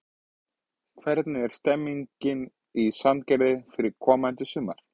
Hvernig er stemmingin í Sandgerði fyrir komandi sumar?